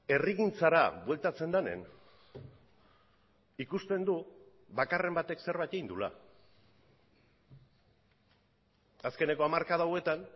herrigintzara bueltatzen denean ikusten du bakarren batek zerbait egin duela azkeneko hamarkada hauetan